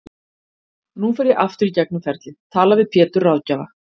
Nú fer ég aftur í gegnum ferlið, tala við Pétur ráðgjafa